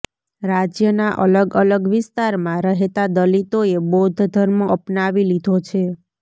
રાજ્યના અલગ અલગ વિસ્તારમાં રહેતા દલિતોએ બૌદ્ધ ધર્મ અપનાવી લીધો છે